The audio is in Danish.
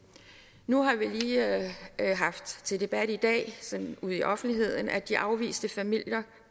nu har vi lige haft til debat i dag sådan ude i offentligheden at de afviste familier